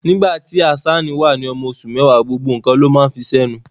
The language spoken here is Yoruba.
Nígbà tí Hazzan wà ní ọmọ oṣù mẹ́wàá, gbogbo nǹkan ló máa ń fi sẹ́nu.